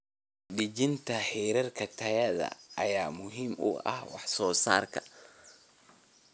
Dejinta heerarka tayada ayaa muhiim u ah wax soo saarka.